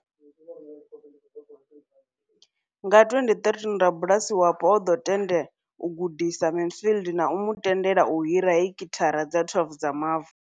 Nga 2013, rabulasi wapo o ḓo tende u gudisa Mansfield na u mu tendela u hira heki thara dza 12 dza mavu.